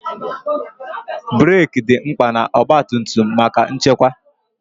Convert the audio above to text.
breeki dị mkpa na ọgba tum tum maka nchekwa.